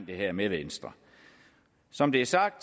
det her med venstre som det er sagt